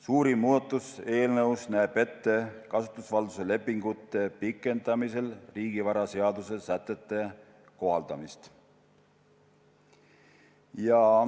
Suurim muudatus näeb ette kasutusvalduse lepingute pikendamisel riigivaraseaduse sätete kohaldamist.